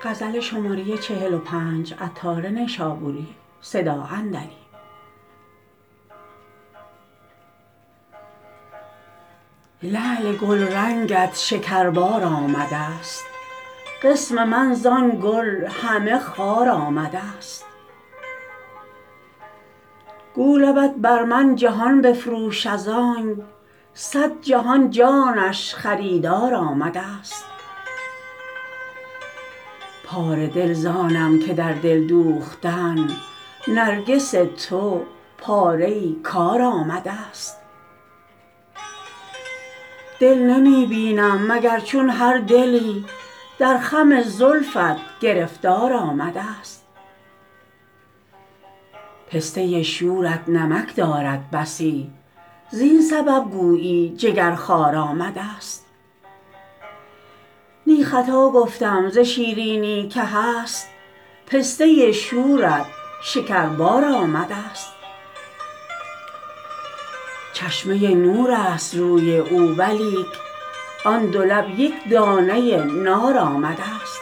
لعل گلرنگت شکربار آمدست قسم من زان گل همه خار آمدست گو لبت بر من جهان بفروش ازانک صد جهان جانش خریدار آمدست پاره دل زانم که در دل دوختن نرگس تو پاره ای کار آمدست دل نمی بینم مگر چون هر دلی در خم زلفت گرفتار آمدست پسته شورت نمک دارد بسی زین سبب گویی جگر خوار آمدست نی خطا گفتم ز شیرینی که هست پسته شورت شکربار آمدست چشمه نور است روی او ولیک آن دو لب یک دانه نار آمدست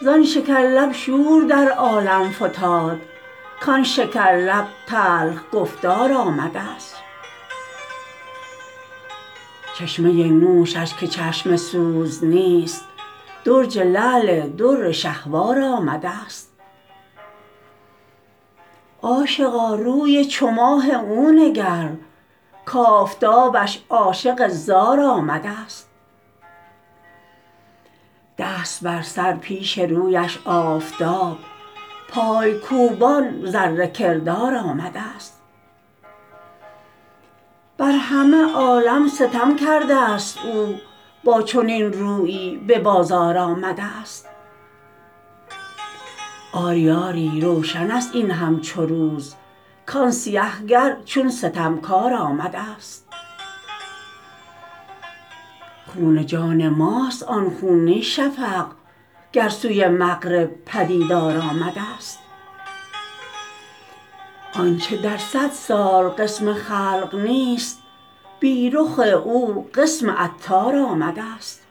زان شکر لب شور در عالم فتاد کان شکر لب تلخ گفتار آمدست چشمه نوشش که چشم سوز نیست درج لعل در شهوار آمدست عاشقا روی چو ماه او نگر کافتابش عاشق زار آمدست دست بر سر پیش رویش آفتاب پای کوبان ذره کردار آمدست بر همه عالم ستم کردست او با چنان رویی به بازار آمدست آری آری روشن است این همچو روز کان سیه گر چون ستمکار آمدست خون جان ماست آن خون نی شفق گر سوی مغرب پدیدار آمدست آنچه در صد سال قسم خلق نیست بی رخ او قسم عطار آمدست